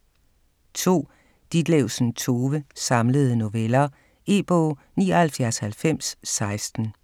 2. Ditlevsen, Tove: Samlede noveller E-bog 799016